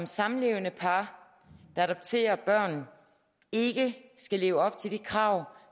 samlevende par der adopterer børn ikke skal leve op til de krav